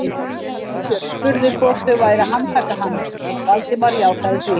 Sveinbjörn spurði hvort þau væru að handtaka hann, Valdimar játaði því.